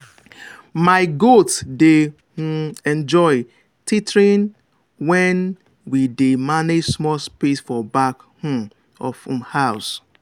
my goat dey um enjoy tethering when we dey manage small space for back um of um house.